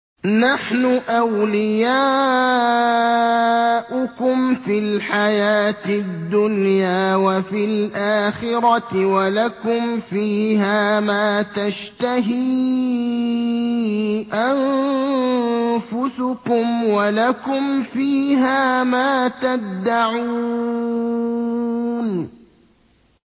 نَحْنُ أَوْلِيَاؤُكُمْ فِي الْحَيَاةِ الدُّنْيَا وَفِي الْآخِرَةِ ۖ وَلَكُمْ فِيهَا مَا تَشْتَهِي أَنفُسُكُمْ وَلَكُمْ فِيهَا مَا تَدَّعُونَ